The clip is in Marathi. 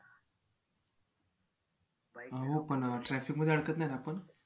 हो पण traffic मध्ये अडकत नाही ना आपण